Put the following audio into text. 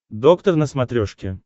доктор на смотрешке